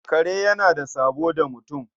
Kare yana da sabo da mutum.